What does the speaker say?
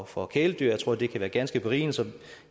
for kæledyr jeg tror det kan være ganske berigende så